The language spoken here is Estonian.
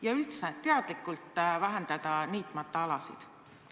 Ja kas üldse tuleks teadlikult jätta rohkem alasid niitmata?